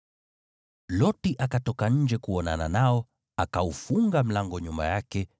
Loti akatoka nje kuonana nao, akaufunga mlango nyuma yake,